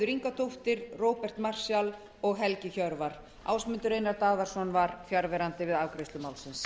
ingadóttir róbert marshall og helgi hjörvar ásmundur einar daðason var fjarverandi við afgreiðslu málsins